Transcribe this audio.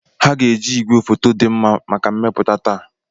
Ha ga-eji igwefoto dị mma maka mmepụta taa.